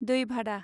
दै भादा